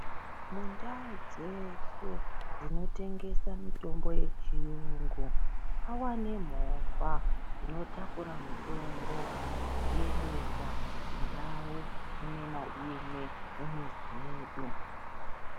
Mundau dzeshe dzinotengesa mitombo yechiyungu. Pava nemovha dzinotakura mutombo dzichiendesa kundau imwe naimwe mumizi medu.